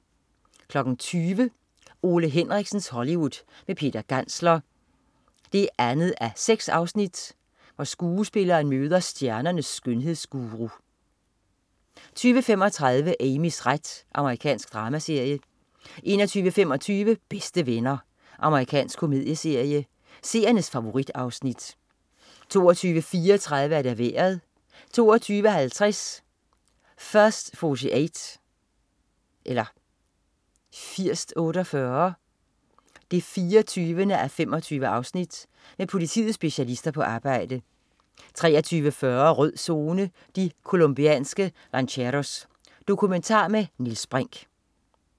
20.00 Ole Henriksens Hollywood med Peter Gantzler 2:6. Skuespilleren møder stjernernes skønhedsguru 20.35 Amys ret. Amerikansk dramaserie 21.25 Bedste Venner. Amerikansk komedieserie. Seernes favorit-afsnit 22.34 Vejret 22.50 First 48 24:25. Med politiets specialister på arbejde 23.40 Rød Zone: De colombianske lanceros. Dokumentar med Niels Brinch